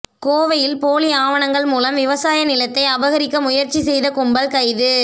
கோவையில் போலி ஆவணங்கள் மூலம் விவசாய நிலத்தை அபகரிக்க முயற்சித்த கும்பல் கைது